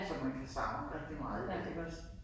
Som man kan savne rigtig meget i dag